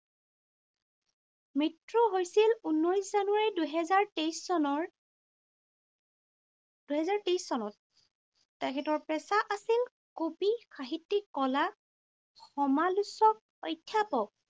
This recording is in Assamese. মৃত্যু হৈছিল ঊনৈশ জানুৱাৰী, দুহেজাৰ তেইছ চনৰ, দুহেজাৰ তেইছ চনত। তেখেতৰ পেছা আছিল কবি, সাহিত্যিক, কলা, সমালোচক, অধ্যাপক।